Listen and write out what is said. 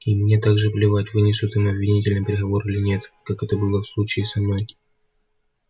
и мне так же плевать вынесут им обвинительный приговор или нет как это было в случае со мной